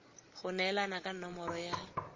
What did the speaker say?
go neelana ka nomoro ya